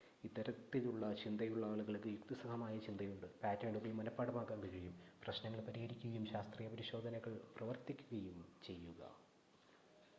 ഇത്തരത്തിലുള്ള ചിന്തയുള്ള ആളുകൾക്ക് യുക്തിസഹമായ ചിന്തയുണ്ട് പാറ്റേണുകൾ മനഃപാഠമാക്കാൻ കഴിയും പ്രശ്നങ്ങൾ പരിഹരിക്കുകയും ശാസ്ത്രീയ പരിശോധനകളിൽ പ്രവർത്തിക്കുകയും ചെയ്യുക